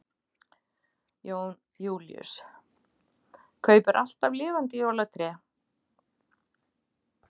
Jón Júlíus: Kaupir þú alltaf lifandi jólatré?